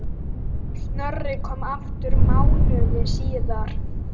Snorri kom aftur mánuði síðar.